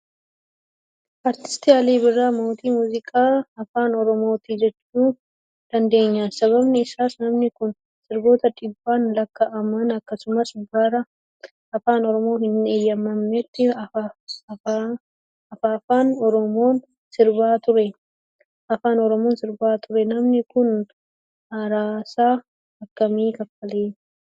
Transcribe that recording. Artisti Alii Birraa mootii muuziqaa afaan oromooti jechuu dandeenya. Sababni isaas namni kun sirboota dhibbaan lakaa'aman akkasumas bara afaan oromoo hin heeyyamamnetti afaafan oromoon sirbaa ture. Namni kun aarsaa akkamii kaffalee?